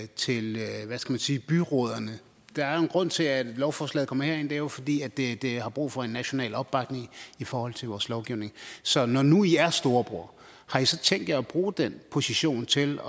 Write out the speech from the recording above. til hvad skal sige byrådene der er jo en grund til at lovforslaget kommer herind og det er jo fordi det det har brug for en national opbakning i forhold til vores lovgivning så når nu i er storebror har i så tænkt jer at bruge den position til